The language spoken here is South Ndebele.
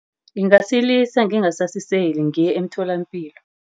Ngingasilisa, ngingasasiseli. Ngiye emtholapilo.